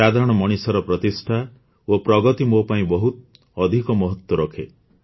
ସାଧାରଣ ମଣିଷର ପ୍ରତିଷ୍ଠା ଓ ପ୍ରଗତି ମୋ ପାଇଁ ବହୁତ ଅଧିକ ମହତ୍ୱ ରଖେ